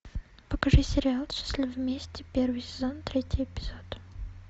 покажи сериал счастливы вместе первый сезон третий эпизод